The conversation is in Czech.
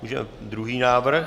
Můžeme druhý návrh.